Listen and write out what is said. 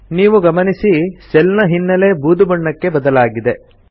ನೀವು ಗಮನಿಸಿ ಸೆಲ್ ನ ಹಿನ್ನೆಲೆ ಬೂದು ಬಣ್ಣಕ್ಕೆ ಬದಲಾಗಿದೆ